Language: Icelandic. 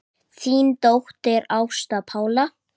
Þín dóttir, Ásta Pála.